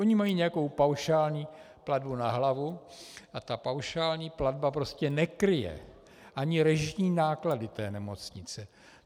Ona mají nějakou paušální platbu na hlavu a ta paušální platba prostě nekryje ani režijní náklady té nemocnice.